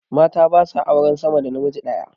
Mata ba sa auren sama da namiji daya